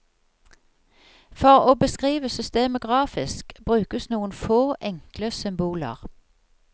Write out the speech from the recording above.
For å beskrive systemet grafisk brukes noen få, enkle symboler.